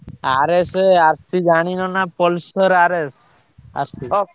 RS ଜାଣିନ ନା Pulsar RS ଆସଚି।